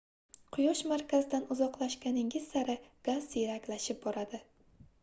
quyosh markazidan uzoqlashganingiz sari gaz siyraklashib boradi